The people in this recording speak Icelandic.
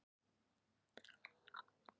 Nú er komið að honum Haraldi.